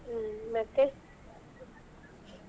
ಹ್ಮ್ ಮತ್ತೆ.